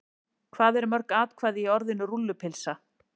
Hvað eru mörg atkvæði í orðinu rúllupylsa?